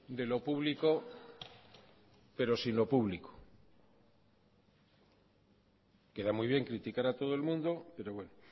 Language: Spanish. de lo público pero sin lo público queda muy bien criticar a todo el mundo pero bueno